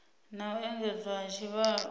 na u engedzwa ha tshivhalo